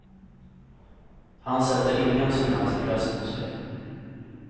Han sätter ingen som helst press på sig.